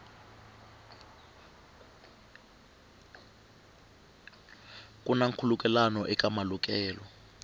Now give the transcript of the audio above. ku na nkhulukelano eka malukelo